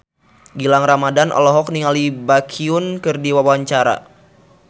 Gilang Ramadan olohok ningali Baekhyun keur diwawancara